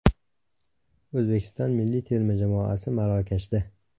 O‘zbekiston milliy terma jamoasi Marokashda .